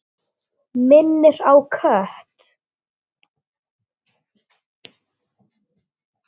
Minnir á kött.